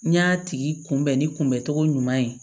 N y'a tigi kunbɛn ni kunbɛncogo ɲuman ye